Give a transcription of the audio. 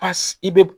Pasi i be